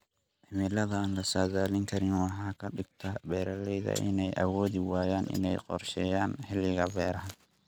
Cimilada aan la saadaalin karin waxay ka dhigtaa beeralayda inay awoodi waayaan inay qorsheeyaan xilliga beeraha.